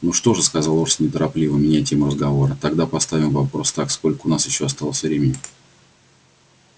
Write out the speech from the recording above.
ну что же сказал орси неторопливо меняя тему разговора тогда поставим вопрос так сколько у нас ещё осталось времени